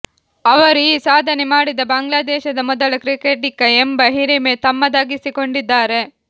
ಅವರು ಈ ಸಾಧನೆ ಮಾಡಿದ ಬಾಂಗ್ಲಾದೇಶದ ಮೊದಲ ಕ್ರಿಕೆಟಿಗ ಎಂಬ ಹಿರಿಮೆ ತಮ್ಮದಾಗಿಸಿಕೊಂಡಿದ್ದಾರೆ